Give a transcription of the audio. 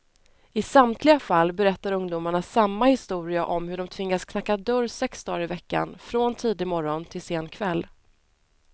I samtliga fall berättar ungdomarna samma historia om hur de tvingats knacka dörr sex dagar i veckan, från tidig morgon till sen kväll.